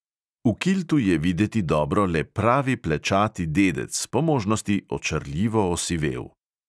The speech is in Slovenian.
V kiltu je videti dobro le pravi plečati dedec, po možnosti očarljivo osivel.